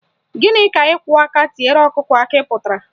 Gịnị ka ịkwọ aka tiere ọkụkọ akị pụtara?